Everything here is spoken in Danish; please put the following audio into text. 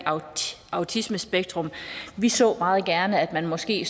autismespektret vi så meget gerne at man måske